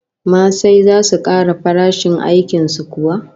Masai zasu kara farashin aikin su kuwa?